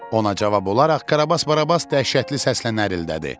Ona cavab olaraq Karabas-Barabas dəhşətli səslə nərildədi.